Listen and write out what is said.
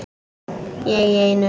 Ég í einu.